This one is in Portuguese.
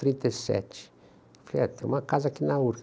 trinta e sete. Falei, é, tem uma casa aqui na